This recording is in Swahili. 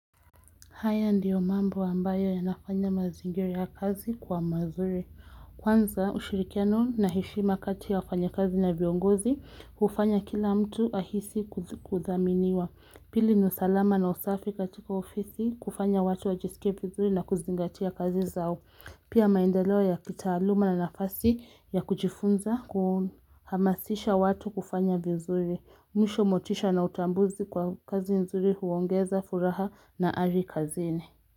Haya ndiyo mambo ambayo yanafanya mazingira ya kazi kuwa mazuri. Kwanza ushirikiano na heshima kati ya wafanya kazi na viongozi, hufanya kila mtu ahisi kuthaminiwa. Pili ni usalama na usafi katika ofisi, kufanya watu wajisike vizuri na kuzingatia kazi zao. Pia maendeleo ya kitaaluma na nafasi ya kujifunza, uhamasisha watu kufanya vizuri. Mwisho motisha na utambuzi kwa kazi nzuri huongeza furaha na hali kazini.